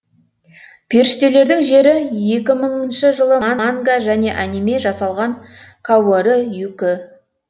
періштелердің жері екі мыңыншы жылы ман манга және аниме жасалған каорі юкі